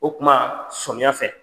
O kuma somiya fɛ.